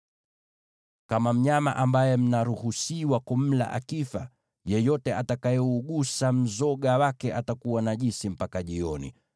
“ ‘Kama mnyama ambaye mnaruhusiwa kumla akifa, yeyote atakayeugusa mzoga wake atakuwa najisi mpaka jioni.